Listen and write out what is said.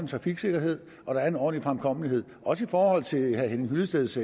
trafiksikkerhed og en ordentlig fremkommelighed også i forhold til herre henning hyllesteds